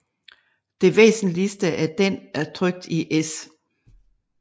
Det væsentligste af den er trykt i S